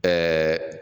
Ɛɛ